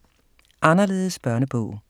Anderledes børnebog